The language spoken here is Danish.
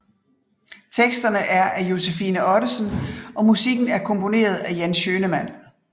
Teksterne er af Josefine Ottesen og musikken er komponeret af Jan Schønemann